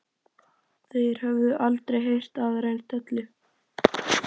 Þeir höfðu aldrei heyrt aðra eins dellu.